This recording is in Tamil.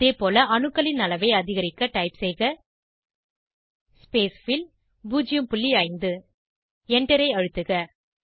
அதேபோல அணுக்களின் அளவை அதிகரிக்க டைப் செய்க ஸ்பேஸ்ஃபில் 05 Enter ஐ அழுத்துக